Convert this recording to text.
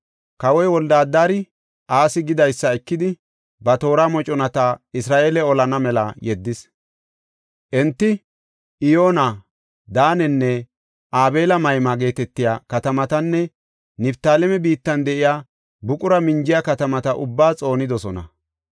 Kawoy Wolde-Adari, Asi gidaysa ekidi ba toora moconata Isra7eele olana mela yeddis. Enti Iyoona, Daanenne Abeel-Mayma geetetiya katamatanne Niftaaleme biittan de7iya buqura minjiya katamata ubbaa xoonidosona.